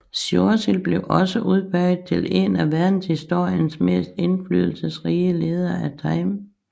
Churchill blev også udpeget til en af verdenshistoriens mest indflydelsesrige ledere af Time